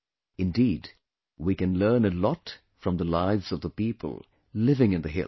Indeed, we can learn a lot from the lives of the people living in the hills